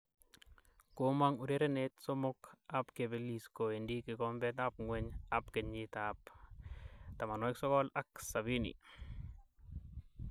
Komong urerenet somok ab kepelis kowendi kikombet ab ngweny ab kenyit 1970.